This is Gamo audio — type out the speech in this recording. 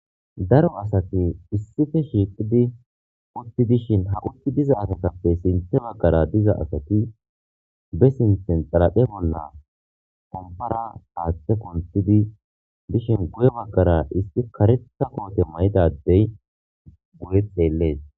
Daaro asati issippe shiqqidi utidishin ha uti diza asatappe sinththe baggara diza asati be sinththen xaraphphe bolla pomppara haththae kunththidi dishsin guye baggara issi kareththa koote mayida adey guye xelles.